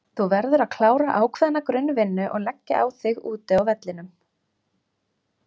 Þú verður að klára ákveðna grunn vinnu og leggja á þig úti á vellinum.